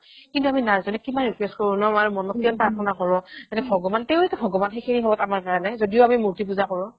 কিন্তু আমি nurse বিলাকক আমি কিমান request কৰো ন আমাৰ মনত কিমান প্ৰাৰ্থনা কৰো মানে ভগৱানতো এটা ভগৱান সেইখিনি সময়ত আমাৰ কাৰণে যদিও আমি মূৰ্তি পূজা কৰো